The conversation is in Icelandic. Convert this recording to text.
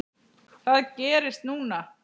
Hvað gerist núna?